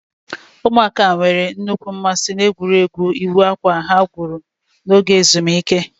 Ụmụaka nwere nnukwu mmasị n'egwuregwu ịwọ akwa ha gwuru n'oge ezumike.